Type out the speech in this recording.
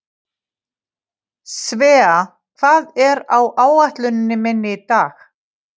Svea, hvað er á áætluninni minni í dag?